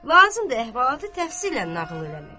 Lazımdır əhvalatı təfsillə nağıl eləmək.